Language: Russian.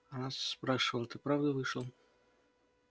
она спрашивала ты правда вышел